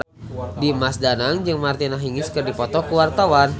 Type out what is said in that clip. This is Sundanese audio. Dimas Danang jeung Martina Hingis keur dipoto ku wartawan